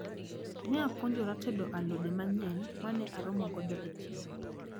Ne apuonjra tedo alode manyien mane aromo godo e chiro.